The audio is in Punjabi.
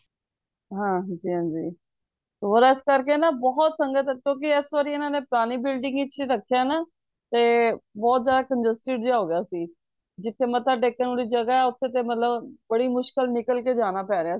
ਹਨਜੀ ਹਨਜੀ ਹੋਰ ਇਸ ਕਰਕੇ ਨਾ ਬਹੁਤ ਸੰਗਤ ਕਿਉਂਕਿ ਇਸ ਵਾਰੀ ਇਹਨਾਂ ਨੇ ਪੁਰਾਣੀ building ਚ ਰੱਖਿਆ ਨਾ ਤੇ ਬਹੁਤ ਜਯਦਾ confused ਜਿਯਾ ਹੋ ਗਯਾ ਸੀ ਜਿਥੇ ਮੱਥਾ ਟੇਕਣ ਦੀ ਜਗਹ ਹੈ ਓਥੇ ਤੇ ਮਤਲਬ ਬੜੀ ਮੁਸ਼ਕਿਲ ਨਾਲ ਨਿਕਲ ਕ ਜਾਣਾ ਪੈ ਰੇਯਾ ਸੀ